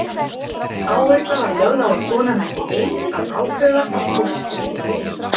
Áhersla var lögð á að konan ætti ein að ákveða hvort fóstri yrði eytt.